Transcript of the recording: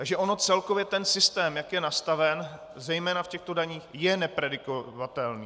Takže ono celkově ten systém, jak je nastaven, zejména v těchto daních, je nepredikovatelný.